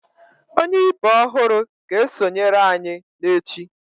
Onye ibe ọhụrụ ga-esonyere anyị n'echi